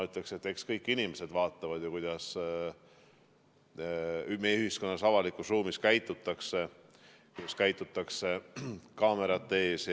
Eks kõik inimesed vaata, kuidas meie ühiskonnas avalikus ruumis käitutakse, kuidas käitutakse kaamerate ees.